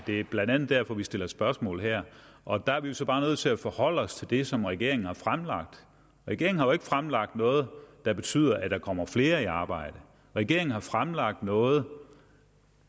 det er blandt andet derfor vi stiller spørgsmål her og der er vi så bare nødt til at forholde os til det som regeringen har fremlagt regeringen har jo fremlagt noget der betyder at der kommer flere i arbejde regeringen har fremlagt noget